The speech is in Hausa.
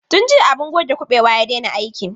Tun jiya abun goge kuɓewa ya daina aiki.